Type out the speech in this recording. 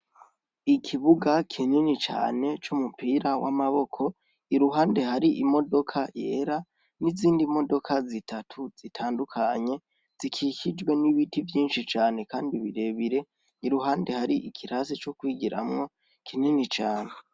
Ikibuga kinini cane c'umupira w'amaboko, iruhande hari imodoka yera n'izindi modoka zitatu zitandukanye , zikikijwe n'ibiti vyinshi cane kandi birebire iruhande hari ikirasi co kwigiramwo kinini cane.